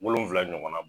Wolonfila ɲɔgɔnna bɔ